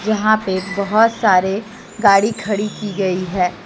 यहां पे बहोत सारे गाड़ी खड़ी की गई है।